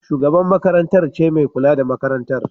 Shugabar makarantar ce mai kula da makarantar.